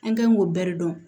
An kɛn b'o bɛɛ de dɔn